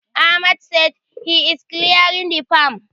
Ahmad sai he is clearing the farm.